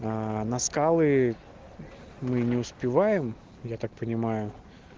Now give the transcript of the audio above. на скалы мы не успеваем я так понимаю